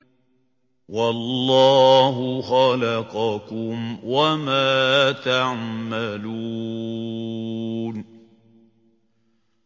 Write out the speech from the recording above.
وَاللَّهُ خَلَقَكُمْ وَمَا تَعْمَلُونَ